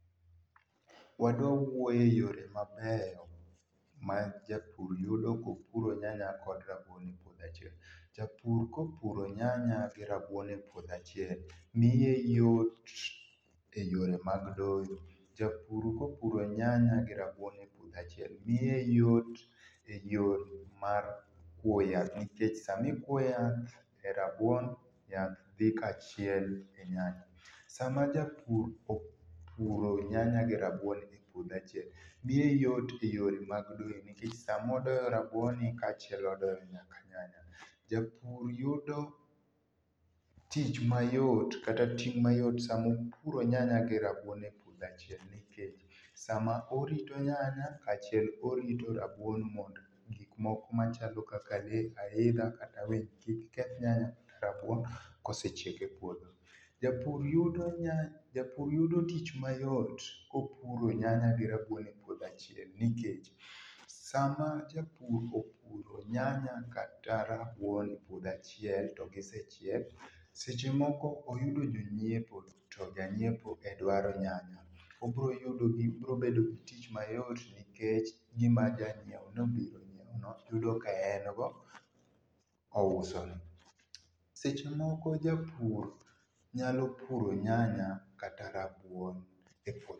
Wadwa wuoye yore mabeyo ma japur yudo kopuro nyanya kod rabuon e puodho achiel. Japur kopuro nyanya gi rabuon e puodho achiel, miye yot e yore mag doyo. Japur kopuro nyanya gi rabuon e puodho achiel, miye yot e yore mar kuo yath. Nikech samikuo yath e rabuon, yath dhi kaachiel e nyanya. Sama japur opuro nyanya gi rabuon e puodho achiel, miye yot e yore mag doyo nikech samodoyo rabuonni, kaachiel odoyo nyaka nyanya. Japur yudo tich mayot, kata ting' mayot sama opuro nyanya gi rabuon e puodho achiel, nikech sama orito nyanya, kaachiel orito rabuon mond gik moko machalo kaka lee, aidha kata winy, kik keth nyanya gi rabuon kosechiek e puodho. Japur yudo japur yudo tich mayot kopuro nyanya gi rabuon e puodho achiel, nikech, sama japur opuro nyanya kata rabuon e puodho achiel, to gisechiek, seche moko oyudo jonyiepo, to janyiepo e dwaro nyanya, obroyudo, gibirobedo gi tich mayot nikech gima janyieo nobiro nyieo no, yudo ka en go ousone. Sechemoko japur nyalo puro nyanya kata rabuon e